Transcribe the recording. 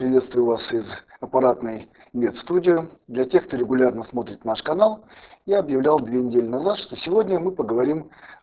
приветствую вас из аппаратной мёд студия для тех кто регулярно смотрит наш канал я объявлял две недели назад что сегодня мы поговорим